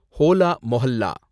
Hola mohalla